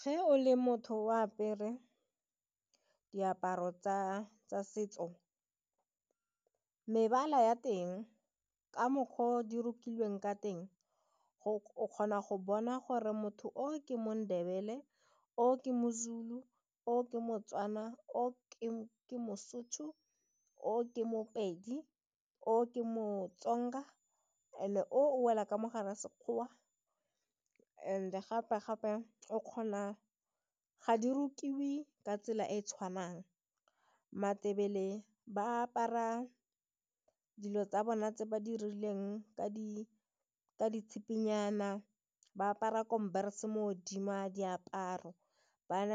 Ge o le motho o apere diaparo tsa setso, mebala ya teng ka mokgwa o di rokilweng ka teng o kgona go bona gore motho o ke mo-Ndebele, o ke mo-Zulu, o ke mo-Tswana, o ke mo-Sotho, o ke mopedi, o ke mo-Tsonga and o wela ka mogare a sekgowa and gape gape ga di rutiwe ka tsela e e tshwanang matebele ba apara dilo tsa bona tse ba di rileng ka ditshipinyana, ba apara mo godimo ga diaparo ba na